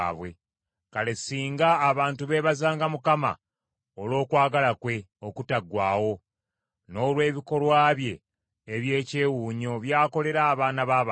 Kale singa abantu beebazanga Mukama olw’okwagala kwe okutaggwaawo, n’olw’ebikolwa bye eby’ekyewuunyo by’akolera abaana b’abantu!